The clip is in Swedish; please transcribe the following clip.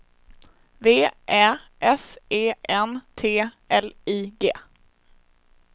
V Ä S E N T L I G